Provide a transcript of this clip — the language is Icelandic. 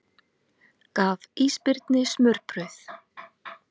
Gaf ísbirni smurbrauð